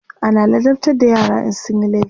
ana ladabtar da yara in sunyi laifi